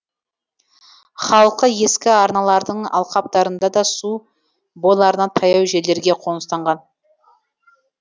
халқы ескі арналардың алқаптарында су бойларына таяу жерлерге қоныстанған